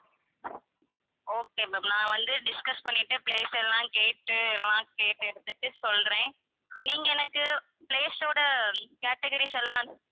okay ma'am நான் வந்து discuss பண்ணிட்டு place எல்லாம் கேட்டு எல்லாம் கேட்டு எடுத்துட்டு சொல்றேன் நீங்க எனக்கு place ஓட categories எல்லாம்